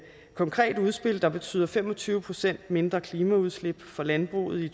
konkret udspil der betyder fem og tyve procent mindre klimaudslip fra landbruget i